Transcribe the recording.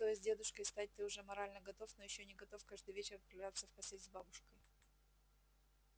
то есть дедушкой стать ты уже морально готов но ещё не готов каждый вечер отправляться в постель с бабушкой